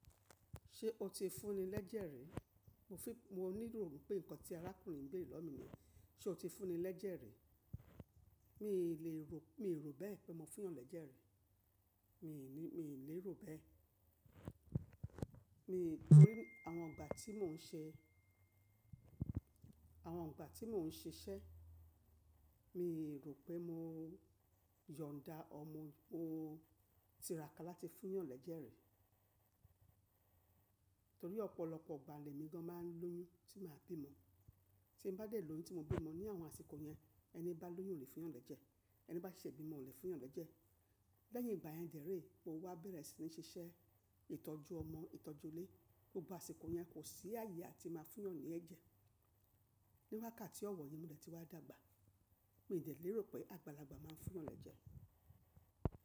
Ṣé o ti fúnni lẹ́jẹ̀ ri? Mo fí, mo níro pé nǹkan tí arákùnrin yii ń béere lowo mi niyen. Ṣé o ti fúnni lẹ́jẹ̀ rẹ? Mi lè ro, mi rò bẹ́ẹ̀ pé mo fún yàn lẹ́jẹ̀ rẹ̀. Mi lè ní, mi lè rò bẹ́ẹ̀. Nítorí àwọn ìgbà tí mò ń ṣe, àwọn ìgbà tí mò ń ṣiṣẹ́, mi rò pé mo yọ̀nda ọmọ, mo tiràká láti fún yàn lẹ́jẹ̀ rẹ̀. Nítorí ọ̀pọ̀lọpọ̀ igbà lè mi gan máa ń lóyún tí màá bímo. Tí mo bá dé lóyún tí mo bímo ní àwọn àsìkò yẹn, ẹni bá lóyún ò lè fún yàn lẹ́jẹ̀. Ẹni bá ṣe ìbímọ ò lè fún yàn lẹ́jẹ̀. Lẹ́yìn ìgbà yẹn dè ré mo wá bẹ̀rẹ̀ sí ní ṣiṣẹ́ ìtọ́jú ọmọ, ìtọ́jú ilé. Gbogbo àsìkò yẹn kò sí ààyè atí màá fún yàn ní ẹ́jẹ̀. Ní wákàtí ọ̀wọ̀ yìí mo dẹ̀ ti wá dàgbà. Mi dẹ̀ lè rò pé àgbàlagbà máa ń fún yàn lẹ́jẹ̀.